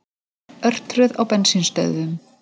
Örtröð á bensínstöðvum